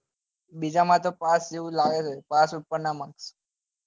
બિજા માં તો પાજ જેવું જ લાગે છે પાસ ઉપર નાં માં